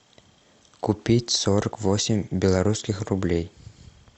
купить сорок восемь белорусских рублей